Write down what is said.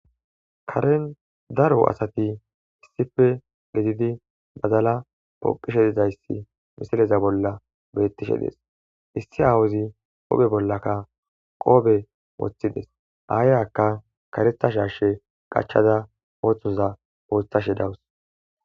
Karen daro asati issife lizidi bazala poqishe dizayssi misileza bolla bettishe dees issi awuzi ophe bollaka qoobe woththides aayaka karetha sharshe qachada ooththoza ooththashe dawus